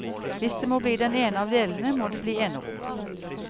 Hvis det må bli den ene av delene, må det blir enerom.